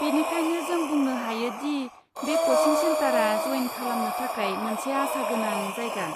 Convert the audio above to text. बेनिखायनो, जों बुंनो हायो दि बे क'चिं सेन्टारा जयेन खालामनो थाखाय मोनसे आसागोनां जायगा।